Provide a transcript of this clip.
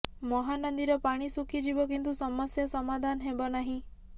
ମହାନଦୀର ପାଣି ଶୁଖିଯିବ କିନ୍ତୁ ସମସ୍ୟା ସମାଧାନ ହେବ ନାହିଁ